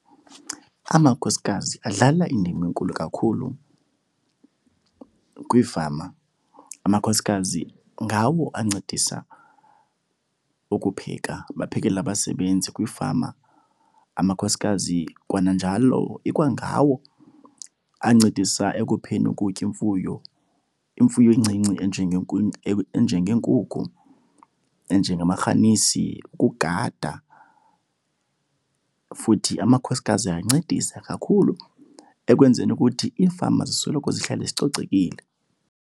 Amakhosikazi adlala indima enkulu kakhulu kwiifama. Amakhosikazi ngawo ancedisa ukupheka, baphekele abasebenzi kwiifama. Amakhosikazi kwananjalo ikwangawo ancedisa ekupheni ukutya imfuyo, imfuyo encinci enjengeenkunku, enjengamarhanisi, ukugada. Futhi amakhosikazi ayancedisa kakhulu ekwenzeni ukuthi iifama zisoloko zihlale zicocekile.